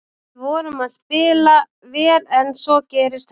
Við vorum að spila vel en svo gerist þetta.